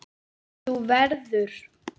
Þú verður.